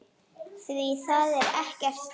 Því það er ekkert stríð.